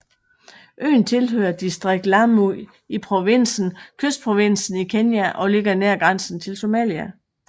Øen tilhører distriktet Lamu i provinsen Kystprovinsen i Kenya og ligger nær grænsen til Somalia